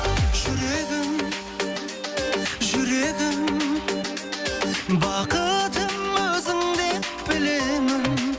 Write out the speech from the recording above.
жүрегім жүрегім бақытым өзіңдеп білемін